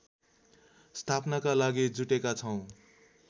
स्थापनाका लागि जुटेका छौँ